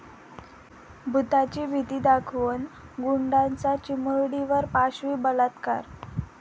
भुताची भीती दाखवून गुंडाचा चिमुरडीवर पाशवी बलात्कार